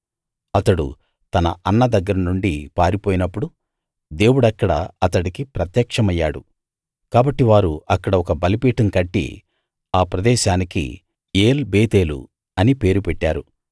అతడు తన అన్న దగ్గర నుండి పారిపోయినప్పుడు దేవుడక్కడ అతడికి ప్రత్యక్షమయ్యాడు కాబట్టి వారు అక్కడ ఒక బలిపీఠం కట్టి ఆ ప్రదేశానికి ఏల్‌ బేతేలు అని పేరు పెట్టారు